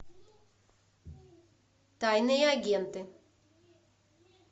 тайные агенты